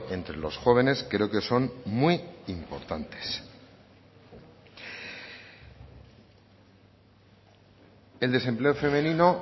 entre los jóvenes creo que son muy importantes el desempleo femenino